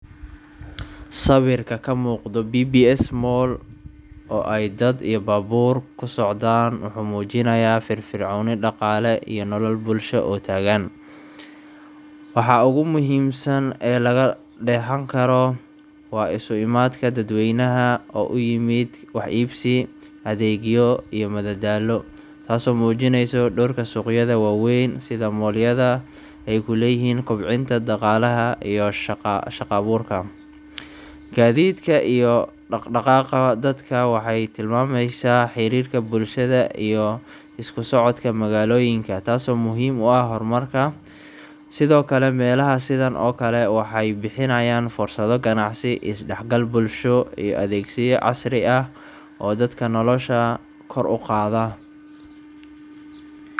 Sawirka ka muuqda BBS Mall oo ay dad iyo baabuur ku socdaan wuxuu muujinayaa firfircooni dhaqaale iyo nolol bulsho oo taagan. Waxa ugu muhiimsan ee laga dheehan karo waa isu imaadka dadweynaha oo u yimid wax iibsi, adeegyo, iyo madadaalo, taasoo muujinaysa doorka suuqyada waaweyn sida mall yada ay ku leeyihiin kobcinta dhaqaalaha iyo shaqa-abuurka. Gaadiidka iyo dhaqdhaqaaqa dadka waxay tilmaamaysaa xiriirka bulshada iyo isku socodka magaalooyinka, taasoo muhiim u ah hormarka. Sidoo kale, meelaha sidan oo kale waxay bixiyaan fursado ganacsi, is-dhexgal bulsho, iyo adeegyo casri ah oo dadka noloshooda kor u qaada. Ma rabtaa in aan tan kuu dhigo cod 60 ilbiriqsi ah?